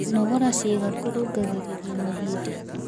Kũnogora ciĩga kũrũngagĩrĩrĩa mahĩndĩ